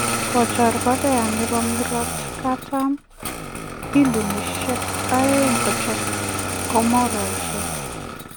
Kochor Korea nebo murotkatam bilionisyek aeng kochob komborainik